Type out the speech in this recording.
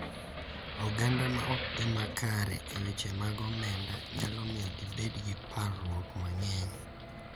Oganda ma ok odhi kare e weche mag omenda nyalo miyo gibed gi parruok mang’eny,